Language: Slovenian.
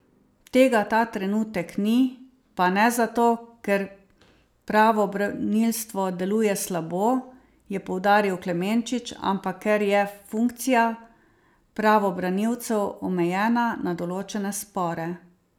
Tega ta trenutek ni, pa ne zato, ker pravobranilstvo deluje slabo, je poudaril Klemenčič, ampak ker je funkcija pravobranilcev omejena na določene spore.